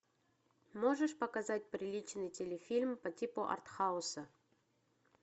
можешь показать приличный телефильм по типу артхауса